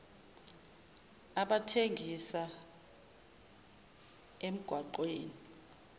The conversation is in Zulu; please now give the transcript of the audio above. abathengisa emgwaqw eni